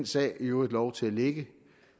så i øvrigt lov til at ligge